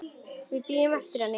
Við bíðum eftir henni